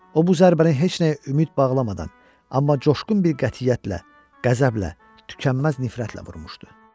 O bu zərbəni heç nəyə ümid bağlamadan, amma coşqun bir qətiyyətlə, qəzəblə, tükənməz nifrətlə vurmuşdu.